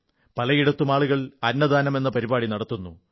പലയിടത്തും ആളുകൾ അന്നദാനം എന്ന പരിപാടി നടത്തുന്നു